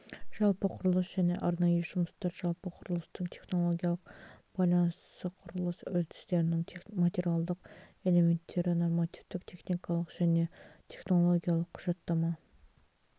жалпы құрылыс және арнайы жұмыстар жалпы құрылыстың технологиялық байланысы құрылыс үрдістерінің материалдық элементтері нормативтік техникалық және технологиялық құжаттама